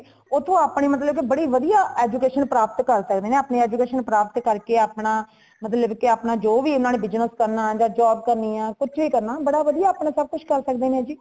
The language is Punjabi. ਉਥੋਂ ਆਪਣੇ ਮਤਲਬ ਕੇ ਬੜੀਆਂ ਵਦੀਆਂ education ਪ੍ਰਾਪਤ ਕਰ ਸਕਦੇ ਨੇ , ਆਪਣੀ education ਪ੍ਰਾਪਤ ਕਰ ਕੇ ਆਪਣਾ ਮਤਲਬ ਕੀ ਆਪਣਾ ਜੋ ਵੀ ਇਨ੍ਹਾਂਨੇ business ਕਰਨਾ , ਜਾ job ਕਰਨੀ ਹੈ ,ਕੁਛ ਵੀ ਕਰਨਾ ਬੜਾ ਵਦੀਆਂ ਆਪਨ ਕੁਛ ਕਰ ਸਕਦੇ ਨੇ ਜੀ